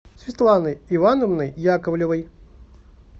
светланой ивановной яковлевой